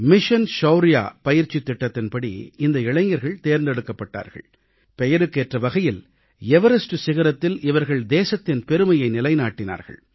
ஷவுர்யா இயக்கத்தின் பயிற்சித் திட்டத்தின்படி இந்த இளைஞர்கள் தேர்ந்தெடுக்கப்பட்டார்கள் பெயருக்கேற்ற வகையில் எவரஸ்ட் சிகரத்தில் இவர்கள் தேசத்தின் பெருமையை நிலைநாட்டினார்கள்